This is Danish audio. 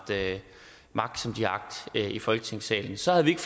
magt som de har agt i folketingssalen så havde vi ikke